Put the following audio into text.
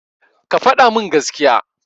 Ka faɗa min gaskiya.